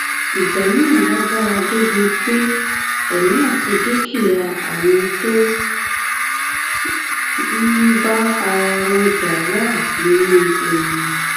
ìjà náà lágbára débii pé èmi àti dúkìá àwọn tó ń bá ara wọn jà náà wà nínú ewu